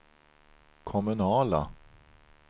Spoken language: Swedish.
kommunala